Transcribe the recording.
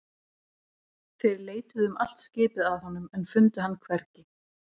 Þeir leituðu um allt skipið að honum en fundu hann hvergi.